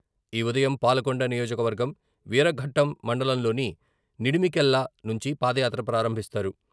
ఈ ఉదయం..పాలకొండ నియోజకవర్గం..వీరఘట్టం మండలంలోని నడిమికెల్ల నుంచి పాదయాత్ర ప్రారంభిస్తారు.